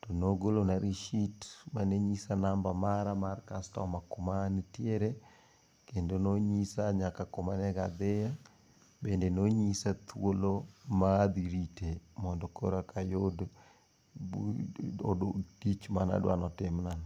tonogolona risit manenyisa nambana mar kastama kuma nitiere, kendo nonyisa nyaka kuma onego adhiye. Bende nonyisa thuolo ma adhi rite mondo koro eka ayud tich manadwa notimnano.